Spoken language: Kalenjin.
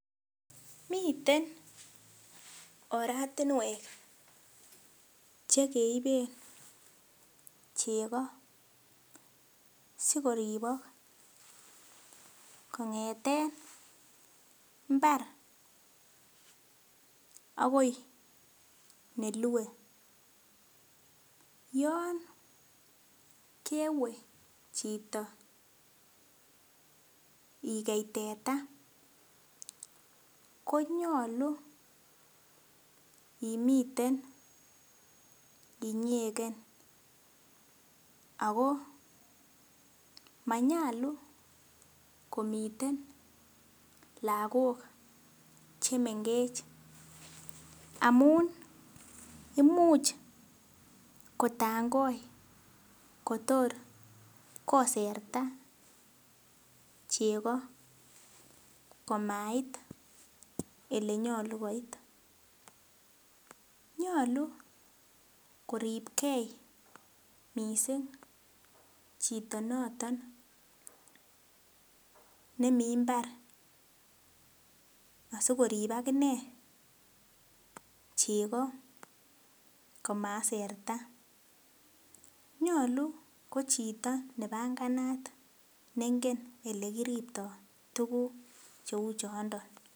Miten oratinwek chekeiben chego sikoribok kongeten imbar agoi ne lue. Yon kewe chito igei teta ko nyalu imiten inyegen ago manyalu komiten lagok che mengech amun imuch kotangoi kotor koserta chego komait elenyalu koit. Nyalu koripke mising chito noton ne mi imbar asikorip agine chego komaserta. Nyalu ko chito ne panganat nengen elekiripto tuguk cheu chondon.